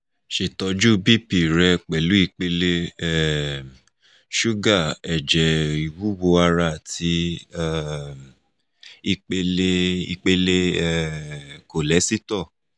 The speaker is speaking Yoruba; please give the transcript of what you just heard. ṣetọju bp rẹ ipele um suga ẹjẹ iwuwo ara ati um ipele ipele um kọọlesito